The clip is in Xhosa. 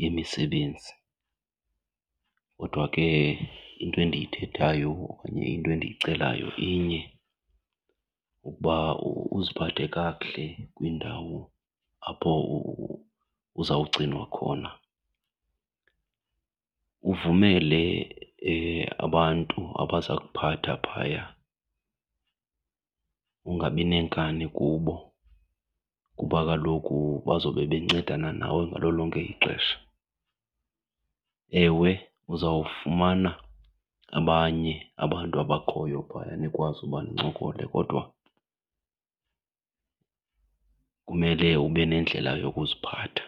yemisebenzi. Kodwa ke into endiyithethayo okanye into endiyicelayo inye ukuba uziphathe kakuhle kwindawo apho uzawugcinwa khona. Uvumele abantu abaza kuphatha phaya,e ungabi nenkani kubo kuba kaloku bazobe bencedana nawe ngalo lonke ixesha. Ewe, uzawufumana abanye abantu abakhoyo phaya nikwazi uba nincokole kodwa kumele ube nendlela yokuziphatha.